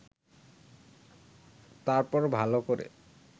তারপর ভালো করে